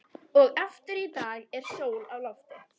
Og aftur í dag er sól á lofti.